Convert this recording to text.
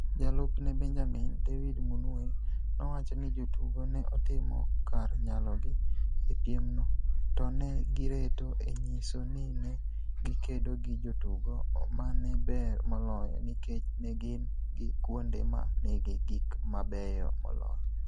Jalupne (Benjamin), David Munuhe nowacho ni jotugo ne otimo kar nyalogi e piemno, to ne gireto e nyiso ni ne gikedo gi jotugo ma ne ber moloyo nikech ne gin gi kuonde ma nigi gik mabeyo moloyo.